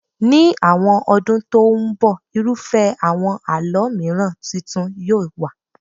Ní àwọn ọdún tó ń bọ̀, irúfẹ́ àwọn àlọ́ mìiràn tuntun yóò wà.